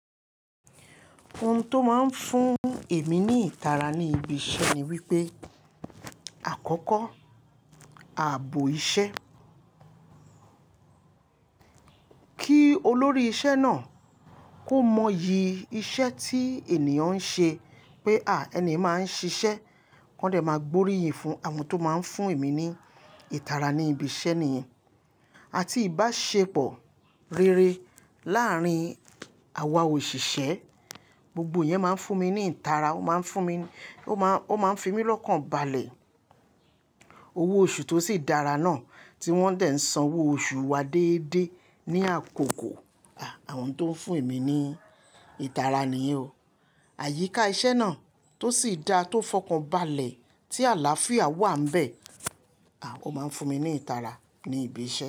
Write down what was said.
Ohun tó máa ń fún èmi ní ìtara ní ibi iṣẹ́ ni wípé àkọ́kọ́, ààbò iṣẹ́. Kí olórí iṣẹ́ náà kó mọ iyì iṣẹ́ tí ènìyàn ń ṣe pé à, ẹni máa ń ṣiṣẹ́. Kọ́n dẹ̀ máa gbóríyìn fún àwọn tó máa ń fún èmi ní ìtara ní ibi iṣẹ́ nìyẹn. Àti ìbáṣepọ̀ rere láàárín àwa òṣìṣẹ́, gbogbo yẹn máa ń fún mi ní ìtara. Ó máa ń fún mi, ó máa, ó máa ń fi mí lọ́kàn balẹ̀. Owó oṣù tó sì dára náà tí wọ́n dẹ̀ ń san owó oṣù wa déédéé ní àkókò. À, àwọn tó ń fún èmi ní ìtara nìyẹn o. Àyíká iṣẹ́ náà tó sì dáa tó fọkàn balẹ̀ tí àlàáfíà wà n bẹ́ẹ̀. À, ó máa ń fún mi ní ìtara ní ibi iṣẹ́